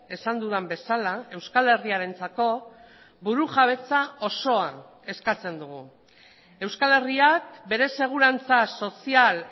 esan dudan bezala euskal herriarentzako burujabetza osoa eskatzen dugu euskal herriak bere segurantza sozial